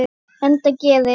Enda gerir